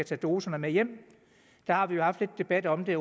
tage doserne med hjem har vi haft lidt debat om det